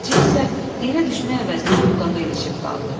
Axça isə yerə düşmək əvəzinə budağa ilişib qaldı.